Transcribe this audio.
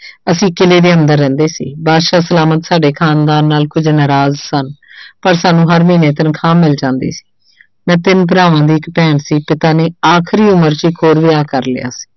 ਅਸੀਂ ਕਿਲ੍ਹੇ ਦੇ ਅੰਦਰ ਰਹਿੰਦੇ ਸੀ ਬਾਦਸ਼ਾਹ ਸਲਾਮਤ ਸਾਡੇ ਖਾਨਦਾਨ ਨਾਲ ਕੁੱਝ ਨਾਰਾਜ਼ ਸਨ ਪਰ ਸਾਨੂੰ ਹਰ ਮਹੀਨੇ ਤਨਖ਼ਾਹ ਮਿਲ ਜਾਂਦੀ ਮੈਂ ਤਿੰਨ ਭਰਾਵਾਂ ਦੀ ਇੱਕ ਭੈਣ ਸੀ ਪਿਤਾ ਨੇ ਆਖਰੀ ਉਮਰ 'ਚ ਇੱਕ ਹੋਰ ਵਿਆਹ ਕਰ ਲਿਆ।